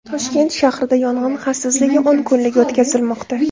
Toshkent shahrida yong‘in xavfsizligi o‘n kunligi o‘tkazilmoqda.